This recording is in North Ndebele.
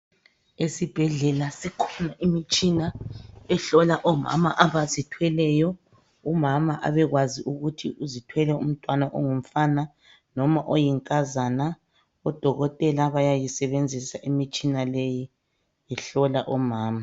Esibhedlela sikhona imitshina ehlola omama abazithweleyo, umama abekwazi ukuthi uzithwele umntwana ongumfana noma oyinkazana ,odokotela bayayisebenzisa imitshina leyi behlola omama.